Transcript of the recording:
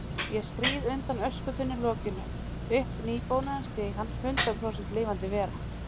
Ég skríð undan öskutunnulokinu, upp nýbónaðan stigann, hundrað prósent lifandi vera.